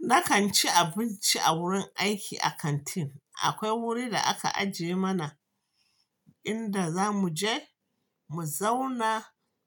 Na kan ci abinci a wurin aiki a kantin. Akwai wurin da aka ajiye mana inda za mu je, mu zauna,